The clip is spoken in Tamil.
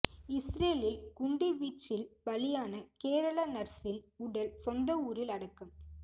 இஸ்ரேலில் குண்டு வீச்சில் பலியான கேரள நர்சின் உடல் சொந்த ஊரில் அடக்கம்